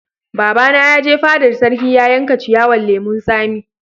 Baba na ya je fadar sarki ya yanka ciyawan lemun sami.